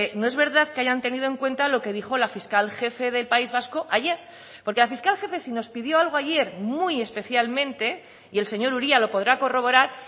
no es verdad que hayan tenido en cuenta lo que dijo la fiscal jefe del país vasco ayer porque la fiscal jefe si nos pidió algo ayer muy especialmente y el señor uria lo podrá corroborar